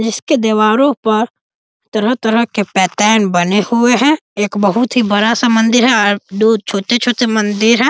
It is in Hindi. जिसके दीवारों पर तरह-तरह के पैटर्न बने हुए है एक बहुत ही बड़ा सा मंदिर है और दो छोटे-छोटे मंदिर है।